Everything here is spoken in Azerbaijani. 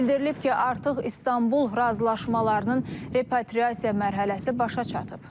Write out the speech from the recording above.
Bildirilib ki, artıq İstanbul razılaşmalarının repatriasiya mərhələsi başa çatıb.